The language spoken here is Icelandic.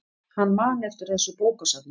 Hann man eftir þessu bókasafni.